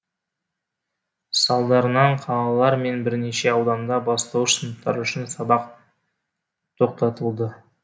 салдарынан қалалар мен бірнеше ауданда бастауыш сыныптар үшін сабақ тоқтатылды